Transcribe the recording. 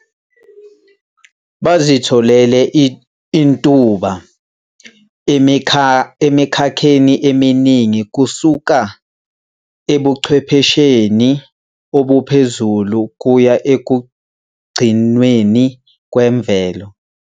Bazitholele intuba emikhakheni eminingi kusuka ebuchwephesheni obuphezulu kuya ekugcinweni kwemvelo.